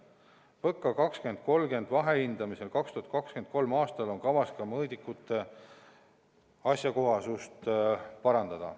PõKa 2030 vahehindamisel 2023. aastal on kavas ka mõõdikute asjakohasust parandada.